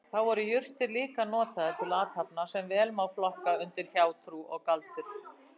Þá voru jurtir líka notaðar til athafna sem vel má flokka undir hjátrú og galdur.